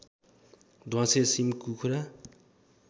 ध्वाँसे सिमकुखुरा